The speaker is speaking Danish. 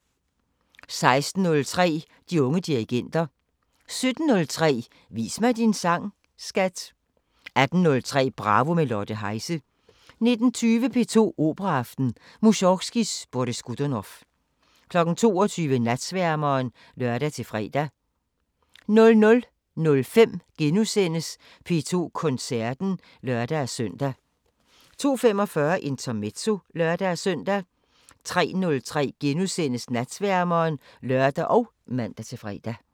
16:03: De unge dirigenter 17:03: Vis mig din sang, skat! 18:03: Bravo – med Lotte Heise 19:20: P2 Operaaften: Musorgskijs Boris Godunov 22:00: Natsværmeren (lør-fre) 00:05: P2 Koncerten *(lør-søn) 02:45: Intermezzo (lør-søn) 03:03: Natsværmeren *(lør og man-fre)